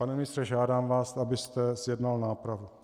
Pane ministře, žádám vás, abyste zjednal nápravu.